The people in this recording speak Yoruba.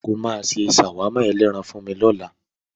O máa ṣe ṣàwámà ẹlẹ́ran màlúù fún mi lọ́la.